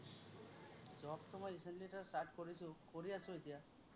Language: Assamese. job টো মই recently just start কৰিছো, কৰি আছো এতিয়া।